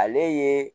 Ale ye